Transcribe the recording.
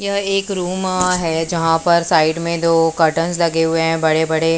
यह एक रूम है जहां पर साइड में दो कर्टन्स लगे हुए हैं बड़े बड़े।